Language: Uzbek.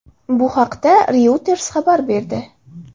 Bu haqda Reuters xabar berdi .